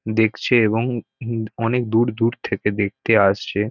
দেখছে এবং উম অনেক দূর দূর থেকে দেখতে আসছে।